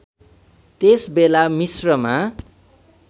त्यस बेला मिश्रमा